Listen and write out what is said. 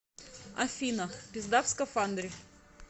афина пизда в скафандре